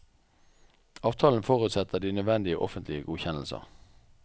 Avtalen forutsetter de nødvendige offentlige godkjennelser.